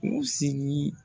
U sigi